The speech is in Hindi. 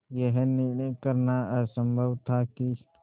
यह निर्णय करना असम्भव था कि